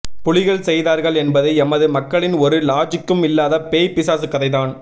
புலிகள் செய்தார்கள் என்பது எமது மக்களின் ஒரு லாஜிக்கும் இல்லாத பேய் பிசாசு கதைதான்